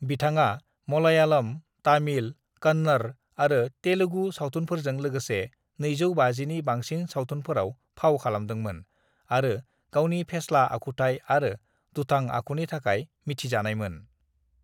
"बिथाङा मलयालम, तामिल, कन्नड़ आरो तेलुगु सावथुनफोरजों लोगोसे 250नि बांसिन सावथुनफोराव फाव खालामदोंमोन आरो गावनि फेस्ला आखुथाय आरो दुथां आखुनि थाखाय मिथिजानायमोन।"